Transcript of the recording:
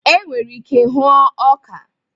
E nwere ike hụuo ọka.